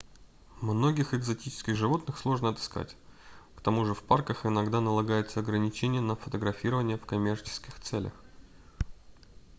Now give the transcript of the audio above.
многих экзотических животных сложно отыскать к тому же в парках иногда налагаются ограничения на фотографирование в коммерческих целях